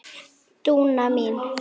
Dúna mín.